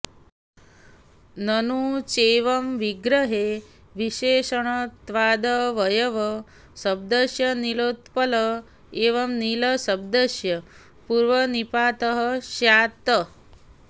ननु चैवं विग्रहे विशेषणत्वादवयवशब्दस्य नीलोत्पल इव नीलशब्दस्य पूर्वनिपातः स्यात्